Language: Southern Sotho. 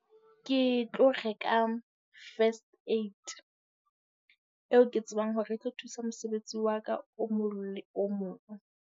Ke tlo reka first aid eo ke tsebang hore e tlo thusa mosebetsi wa ka, o mong le o mong.